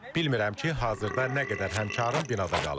Bilmirəm ki, hazırda nə qədər həmkarm binada qalıb.